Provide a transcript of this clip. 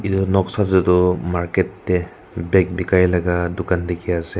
etu noksa teh toh market teh bag bikai laga dukan dikhi ase.